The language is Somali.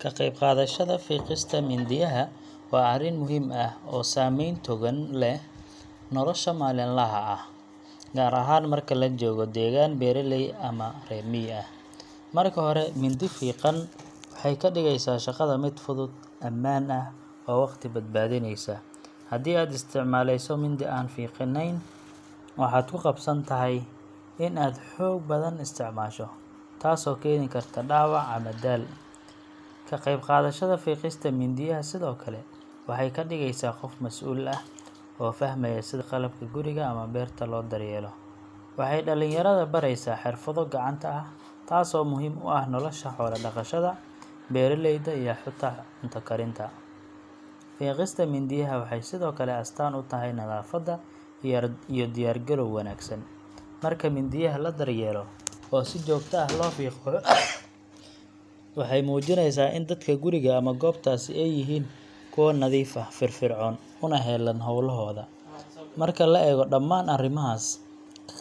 Ka qayb qaadashada fiiqista mindiyaha waa arrin muhiim ah oo saameyn togan leh nolosha maalinlaha ah, gaar ahaan marka la joogo deegaan beeraley ama reer miyi ah. Marka hore, mindi fiiqan waxay ka dhigaysaa shaqada mid fudud, ammaan ah, oo waqti badbaadinaysa. Haddii aad isticmaalayso mindi aan fiiqnayn, waxaad ku qasban tahay in aad xoog badan isticmaasho, taasoo keeni karta dhaawac ama daal. Ka qayb qaadashada fiiqista mindiyaha sidoo kale waxay kaa dhigeysaa qof masuul ah, oo fahmaya sida qalabka guriga ama beerta loo daryeelo. Waxay dhallinyarada baraysaa xirfado gacanta ah, taasoo muhiim u ah nolosha xoola dhaqashada, beeraleyda, iyo xitaa cunto karinta. Fiiqista mindiyaha waxay sidoo kale astaan u tahay nadaafad iyo diyaar-garow wanaagsan. Marka mindiyaha la daryeelo oo si joogto ah loo fiqo, waxay muujinaysaa in dadka guriga ama goobtaasi ay yihiin kuwo nadiif ah, firfircoon, una heelan hawlahooda. Marka la eego dhammaan arrimahaas,